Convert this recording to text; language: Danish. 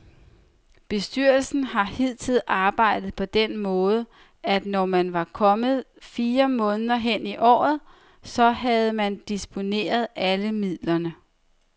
Bestyrelsen har hidtil arbejdet på den måde, at når man var kommet fire måneder hen i året, så havde man disponeret alle midlerne.